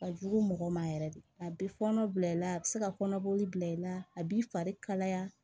Ka jugu mɔgɔ ma yɛrɛ de a bɛ fɔɔnɔ bila i la a bɛ se ka kɔnɔboli bila i la a b'i fari kalaya